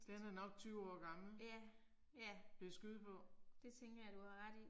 Den er nok 20 år gammel. Vil jeg skyde på